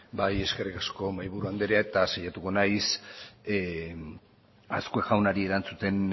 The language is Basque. eskerrik asko mahaiburu anderea hasiko naiz azkue jaunari erantzuten